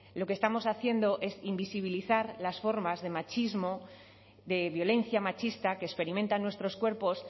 lo que estamos haciendo es invisibilizar las formas de machismo de violencia machista que experimentan nuestros cuerpos